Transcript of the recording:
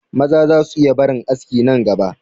Maza za su iya barin aski nan gaba